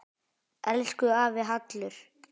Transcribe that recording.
Elsku afi Hallur.